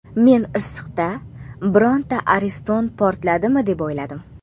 Men issiqda birorta ariston portladimi deb o‘yladim.